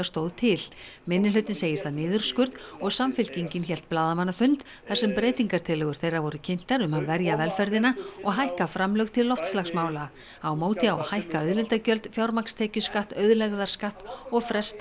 stóð til minnihlutinn segir það niðurskurð og Samfylkingin hélt blaðamannafund þar sem breytingatillögur þeirra voru kynntar um að verja velferðina og hækka framlög til loftslagsmála á móti á að hækka auðlindagjöld fjármagnstekjuskatt auðlegðarskatt og fresta